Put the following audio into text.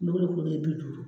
kelen kelen bi duuru.